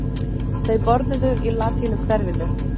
Þau borðuðu í latínuhverfinu.